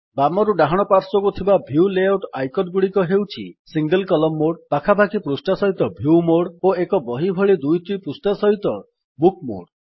ବାମରୁ ଡାହାଣ ପାର୍ଶ୍ୱକୁ ଥିବା ଭ୍ୟୁ ଲେଆଉଟ୍ ଆଇକନ୍ ଗୁଡିକ ହେଉଛି ସିଙ୍ଗଲ୍ କଲମ୍ ମୋଡ୍ ପାଖାପାଖି ପୃଷ୍ଠା ସହିତ ଭ୍ୟୁ ମୋଡ୍ ଓ ଏକ ବହି ଭଳି ଦୁଇଟି ପୃଷ୍ଠା ସହିତ ବୁକ୍ ମୋଡ୍